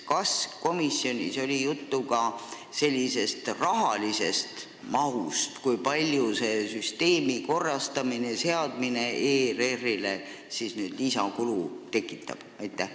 Kas komisjonis oli juttu ka rahasummast, kui palju see süsteemi täiustamine ERR-ile lisakulu tekitab?